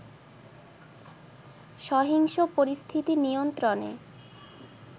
সহিংস পরিস্থিতি নিয়ন্ত্রণে